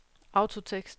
autotekst